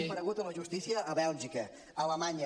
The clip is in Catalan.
ha comparegut a la justícia a bèlgica a alemanya